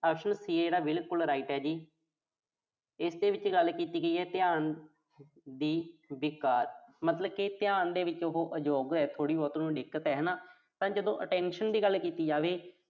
option C ਆ ਜਿਹੜਾ, ਬਿਲਕੁਲ right ਆ ਜੀ। ਇਸ ਦੇ ਵਿੱਚ ਗੱਲ ਕੀਤੀ ਗਈ ਆ ਧਿਆਨ ਦੇ ਵਿਕਾਰ ਦੀ। ਮਤਲਬ ਕਿ ਧਿਆਨ ਦੇ ਵਿੱਚ ਉਹੋ ਅਯੋਗ ਆ, ਥੋੜ੍ਹੀ ਬਹੁਤ ਉਹਨੂੰ ਦਿੱਕਤ ਆ ਹਨਾ। ਤਾਂ ਜਦੋਂ attention ਦੀ ਗੱਲ ਕੀਤੀ ਜਾਵੇ।